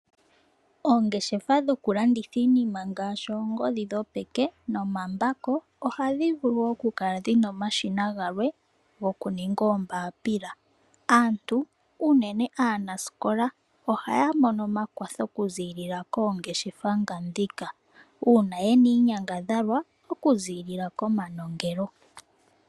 Oongeshefa dhokulanditha iinima ngaashi oongodhi dhopeke nomambako ohadhi vulu okukala dhi na omashina galwe gokuninga oombapila. Aantu, unene aanasikola, ohaa mono omakwatho okuziilila koongeshefa ngandhika uuna ye na iinyangadhalwa okuziilila komanongelo.